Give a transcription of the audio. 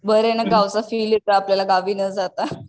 बरंय ना गावचा फिल येते आपल्याला गावी न जाता